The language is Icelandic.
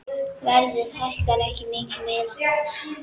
Verðið hækkar ekki mikið meira.